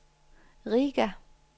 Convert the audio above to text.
Riga